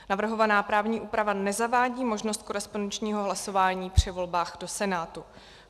Navrhovaná právní úprava nezavádí možnost korespondenčního hlasování při volbách do Senátu.